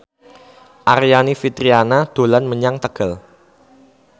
Aryani Fitriana dolan menyang Tegal